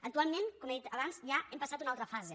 actualment com he dit abans ja hem passat a una altra fase